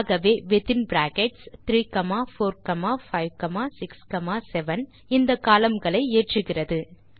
ஆகவே within brackets 34567 இந்த column களை ஏற்றுகிறது